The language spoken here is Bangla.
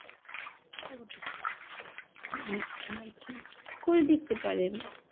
আচ্ছা আচ্ছা করে দেখতে পারেন।